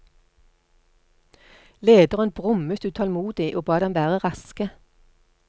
Lederen brummet utålmodig og ba dem være raske.